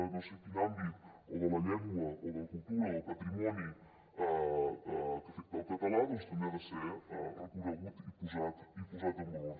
no sé quin àmbit o de la llengua o de la cultura o del patrimoni que afecta el català doncs també ha de ser reconeguda i posada en valor